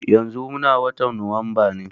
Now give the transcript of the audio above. Yanzu muna watan Nuwamba ne.